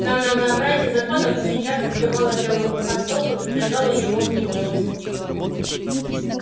на многообразие законов очень часто сбивало белого клыка с толку и подвергало его в немилость